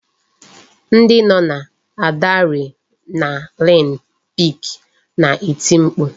Ndị nọ n'Adrenalin pik na-eti mkpu